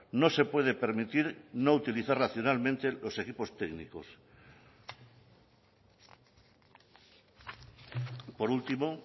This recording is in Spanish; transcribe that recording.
no se puede permitir no utilizar racionalmente los equipos técnicos por último